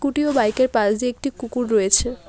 Scooty ও bike -এর পাশ দিয়ে একটি কুকুর রয়েছে।